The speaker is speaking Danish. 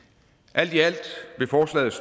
alt i alt vil forslaget